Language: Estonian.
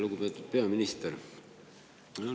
Lugupeetud peaminister!